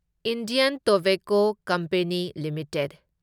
Indian tobacco company limited